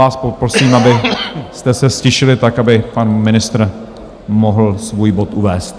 Vás poprosím, abyste se ztišili tak, aby pan ministr mohl svůj bod uvést.